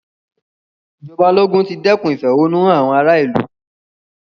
Ì̀jọba ológun ti dẹ́kun ìfẹ̀hùnnúhán àwọn ara ìlú.